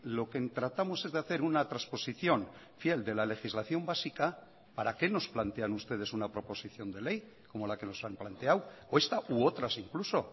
lo que tratamos es de hacer una transposición fiel de la legislación básica para qué nos plantean ustedes una proposición de ley como la que nos han planteado o esta u otras incluso